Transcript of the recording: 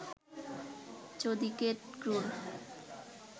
চৌদিকে ক্রূর